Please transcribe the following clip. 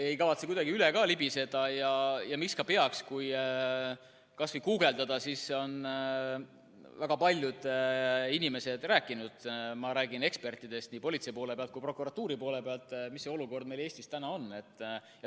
Ei kavatse sellest kuidagi üle libiseda ja miks ka peaks: kui kas või guugeldada, siis on näha, et väga paljud inimesed on rääkinud – ma räägin ekspertidest nii politsei poole pealt kui ka prokuratuuri poole pealt –, mis see olukord meil Eestis on.